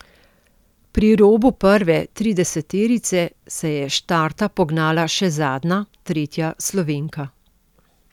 Pri robu prve trideseterice se je s štarta pognala še zadnja, tretja Slovenka.